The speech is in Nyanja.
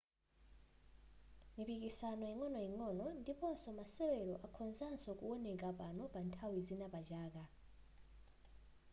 mipikisano ingo'noing'ono ndiponso masewero akhozanso kuwoneka pano pa nthawi zina pachaka